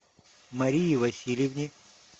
марии васильевне